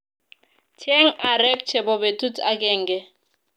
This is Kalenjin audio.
Cheng arek chebo betut agenge